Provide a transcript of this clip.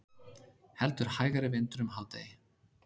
Heldur hægari vindur um hádegi